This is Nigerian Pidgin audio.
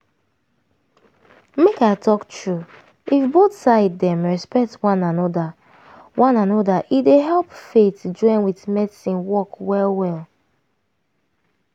make i talk true if both side dem respect one anoda one anoda e dey help faith join with medicine work well well.